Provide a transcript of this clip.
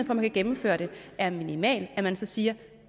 man kan gennemføre det er minimal at man så siger